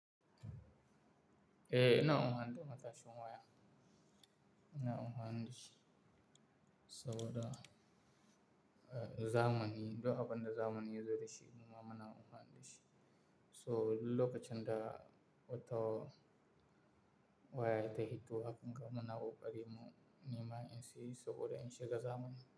Eh, ina amfani da matashin wuya. Ina amfani da shi saboda zamani duk abunda zamani ya zo da shi, muma muna amfani da shi. So lokacin da wata waya ta fito, haka muna ƙari mu nema in sayi saboda in shiga zamani.